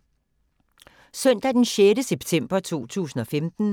Søndag d. 6. september 2015